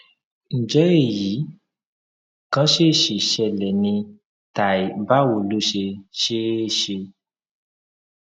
ǹjẹ èyí kàn ṣèèṣì ṣẹlẹ ni tàí báwo ló ṣe ṣe é ṣe